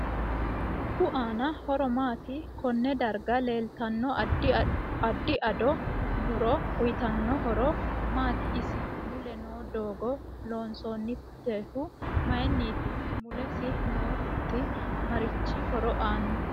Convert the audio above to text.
Dubbu aano horo maati konne darga leeltanno addi ado muro uyiitanno horo maati isi mule noo doogo loosantinohu mayiiniti mulesi noo huxi marichi horo aano